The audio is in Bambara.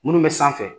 Minnu bɛ sanfɛ